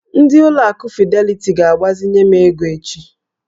Ndị ụlọ akụ fideliti ga-agbazinye m ego echi.